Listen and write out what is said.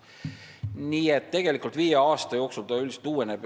Nii et tegelikult viie aasta jooksul mets üldiselt uueneb.